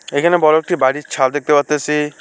এখানে বড় একটি বাড়ির ছাদ দেখতে পারতাসি।